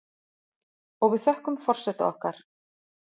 Og við þökkum forseta okkar